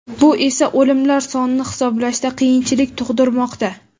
bu esa o‘limlar sonini hisoblashda qiyinchilik tug‘dirmoqda.